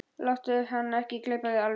Láttu hann ekki gleypa þig alveg!